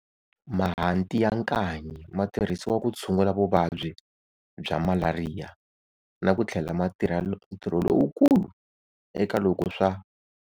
Mahanti ya nkanyi ma tirhisiwa ku tshungula vuvabyi bya malaria na ku tlhela ma tirha ntirho lowukulu eka loko swa.